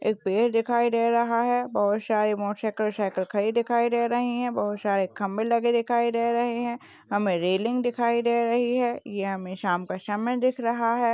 एक पेड दिखाई दे रहा है बोहोत सारे मोटोरसायकल सायकल खडी दिखाई दे रही है बोहोत सारे खंबे लगे दिखाई दे रहे है हमें रेलिंग दिखाई दे रहि है ये हमें शाम का समय दिख रहा है।